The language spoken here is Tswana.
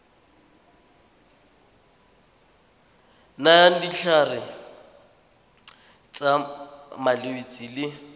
nayang ditlhare tsa malwetse le